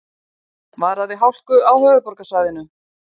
Varað við hálku á höfuðborgarsvæðinu